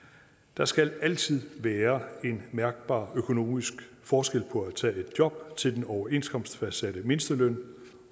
der skal altid være en mærkbar økonomisk forskel på at tage et job til den overenskomstfastsatte mindsteløn